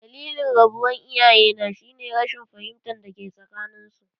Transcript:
Dalilin rabuwar iyayena shi ne rashin fahimtar dake tsakanin su.